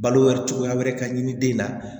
Balo cogoya wɛrɛ ka ɲini den na